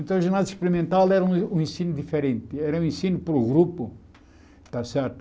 Então, o ginásio experimental era um um ensino diferente, era um ensino para o grupo, está certo?